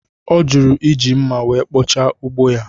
Ọ jụrụ iji mma wee kpochaa ugbo ya